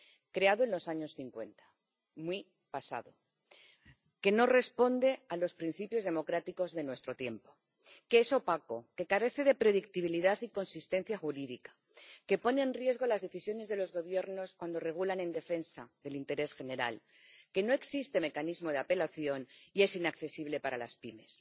Creado en los años cincuenta —muy pasado— no responde a los principios democráticos de nuestro tiempo, es opaco, carece de predictibilidad y consistencia jurídica, pone en riesgo las decisiones de los Gobiernos cuando regulan en defensa del interés general, no cuenta con mecanismo de apelación y es inaccesible para las pymes.